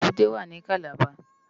Ébùté wá ni Kàlábá